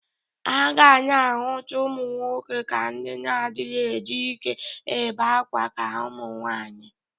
A ga na-ahụta ụmụ nwoke ka ndị na-adịghị eji ike ebe akwa ka ụmụnwaanyị.